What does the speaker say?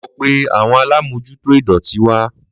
Lọ pé àwọn alamojuto idọti wa